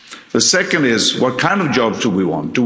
The second is what kind of job do we want?